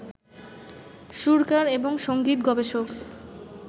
সুরকার এবং সংগীত গবেষক